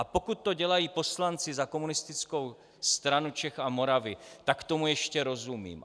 A pokud to dělají poslanci za Komunistickou stranu Čech a Moravy, tak tomu ještě rozumím.